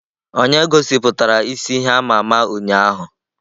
Onye gosiputara isi ihe ama ama ụnyahụ?